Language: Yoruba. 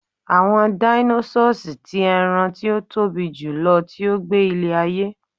àwọn dinosaurs ti eran ti o Tobi jùlọ ti o gbe ile ayé